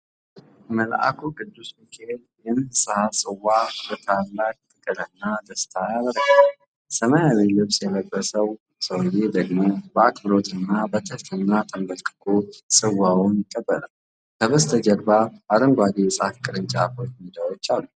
መልአኩ ቅዱስ ሚካኤል የንስሐን ጽዋ በታላቅ ፍቅርና ደስታ ያበረክታል። ሰማያዊ ልብስ የለበሰው ሰውዬ ደግሞ በአክብሮት እና በትህትና ተንበርክኮ ጽዋውን ይቀበላል። ከበስተጀርባ አረንጓዴ የዛፍ ቅርንጫፎችና ሜዳዎች አሉ።